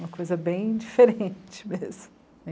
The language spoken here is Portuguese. Uma coisa bem diferente mesmo.